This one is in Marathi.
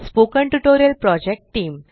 spoken tutorial project team